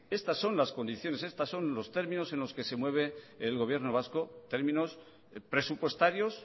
estas son las condiciones estos son los términos en los que se mueve el gobierno vasco términos presupuestarios